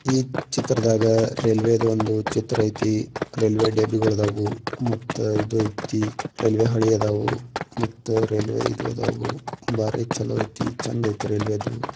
ಈ ಚಿತ್ರದಾಗ ರೈಲ್ವೆ ದು ಒಂದು ಚಿತ್ರ ಐತಿ ರೈಲ್ವೆ ಮತ್ತೆ ಇದಯ್ತಿ ರೈಲ್ವೆ ಅಳಿ ಅದಾವು ಮತ್ತು ರೈಲ್ವೆ ಇದಾದವು. ಬಾರಿ ಚಲೋ ಐತೆ ಚಂದ ಐತಿ ರೈಲ್ವೆ ದು.